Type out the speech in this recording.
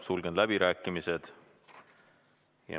Sulgen läbirääkimised.